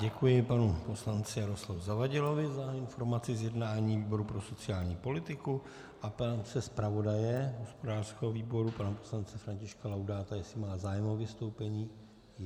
Děkuji panu poslanci Jaroslavu Zavadilovi za informaci z jednání výboru pro sociální politiku a ptám se zpravodaje hospodářského výboru pana poslance Františka Laudáta, jestli má zájem o vystoupení.